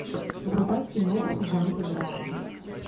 врубай кино в жанре драма